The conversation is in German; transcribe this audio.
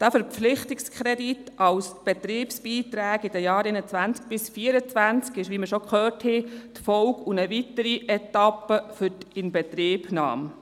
Der Verpflichtungskredit für die Betriebsbeiträge der Jahre 2021–2024 ist, wie wir bereits gehört haben, die Folge und eine weitere Etappe für die Inbetriebnahme.